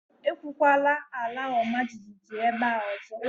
Ekwukwala àlà ọma jijiji ébé a ọzọ